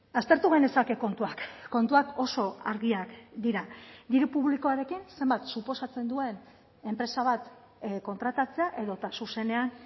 aztertu genezake kontuak kontuak oso argiak dira diru publikoarekin zenbat suposatzen duen enpresa bat kontratatzea edota zuzenean